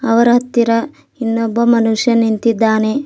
ಅವರ ಹತ್ತಿರ ಇನ್ನೊಬ್ಬ ಮನುಷ್ಯ ನಿಂತಿದ್ದಾನೆ.